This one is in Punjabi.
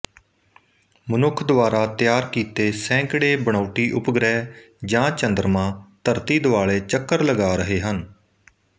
ਮਨੁੱਖ ਦੁਆਰਾ ਤਿਆਰ ਕੀਤੇ ਸੈਂਕੜੇ ਬਣਾਉਟੀ ਉਪਗ੍ਰਹਿ ਜਾਂ ਚੰਦਰਮਾ ਧਰਤੀ ਦੁਆਲੇ ਚੱਕਰ ਲਗਾ ਰਹੇ ਹਨ